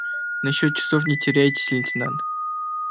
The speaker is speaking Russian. насчёт часов не теряйся лейтенант